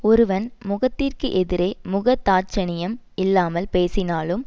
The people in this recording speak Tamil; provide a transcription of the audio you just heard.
ஒருவன் முகத்திற்கு எதிரே முகதாட்சணியம் இல்லாமல் பேசினாலும்